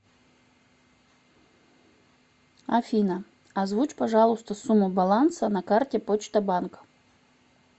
афина озвучь пожалуйста сумму баланса на карте почта банк